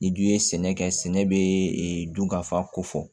Ni dun ye sɛnɛ kɛ sɛnɛ bɛ dun ka fa ko fɔ